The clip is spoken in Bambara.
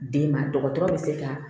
Den ma dɔgɔtɔrɔ be se ka